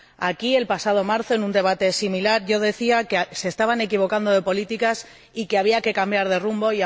Aquí, el pasado marzo, en un debate similar, yo decía que se estaban equivocando de políticas y que había que cambiar de rumbo.